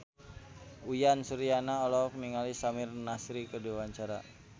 Uyan Suryana olohok ningali Samir Nasri keur diwawancara